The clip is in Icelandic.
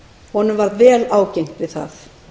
honum varð vel ágengt við það